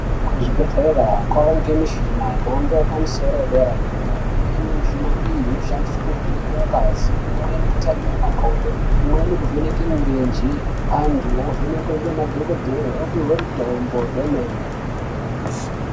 Kuzvibhedhlera kovanikwe mishina yemhando yepamusoro yedera-dera. Imweni yemichina iyi inoshandiswe kuvheneka ngazi .Imweni kutarire makodo, imweni kuvheneke mirenje. Antu ovhenekwe ngemadhogodhleya opuve mutombo hwemene.